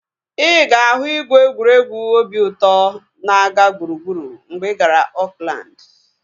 Ịga ahu ìgwè egwuregwu obi ụtọ na-aga gburugburu mgbe ị gara Oakland